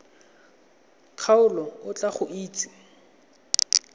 kgaolo o tla go itsise